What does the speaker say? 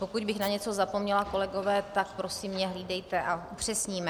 Pokud bych na něco zapomněla, kolegové, tak mě prosím hlídejte a upřesníme.